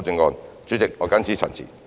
代理主席，我謹此陳辭。